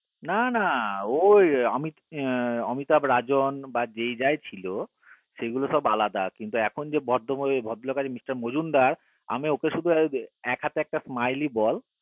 না না ও অমিতাভ রাজিন বা যে যাই ছিল সেই গুলো সব আলাদা কিন্তু এখন যে ভদ্র লোক আছে Mr. mazumder আমি ওকে শুধু উ যে এক হাতে একটা smile ball